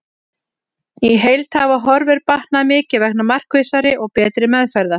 Í heild hafa horfur batnað mikið vegna markvissari og betri meðferða.